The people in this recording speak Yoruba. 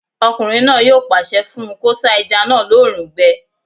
Ọkùnrin náà yóò pàṣẹ fún un kó sá ẹja náà lóòrùn gbẹ